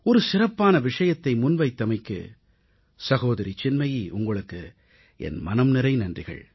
ஒரு சிறப்பான விஷயத்தை முன்வைத்தமைக்கு சகோதரி சின்மயீ உங்களுக்கு என் மனம்நிறை நன்றிகள்